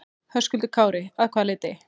Höskuldur Kári: Að hvaða leyti?